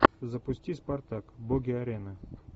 запусти спартак боги арены